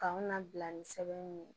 K'anw labila ni sɛbɛn ye